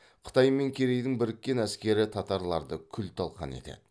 қытай мен керейдің біріккен әскері татарларды күл талқан етеді